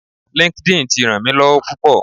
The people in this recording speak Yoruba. LinkedIn ti ràn mí lọ́wọ́ púpò.